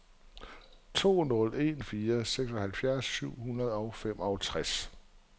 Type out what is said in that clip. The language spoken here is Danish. to nul en fire seksoghalvfems syv hundrede og femogtres